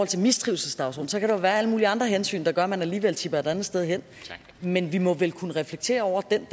til mistrivselsdagsordenen så kan der jo være alle mulige andre hensyn der gør at man alligevel tipper et andet sted hen men vi må vel også kunne reflektere over den